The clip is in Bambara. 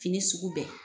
Fini sugu bɛɛ